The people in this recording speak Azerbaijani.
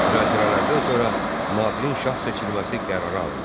Müzakirələrdən sonra Nadirin şah seçilməsi qərara alındı.